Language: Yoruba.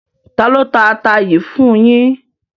Tálọ tà àtà yìí fún yín?